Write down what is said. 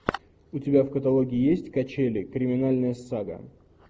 у тебя в каталоге есть качели криминальная сага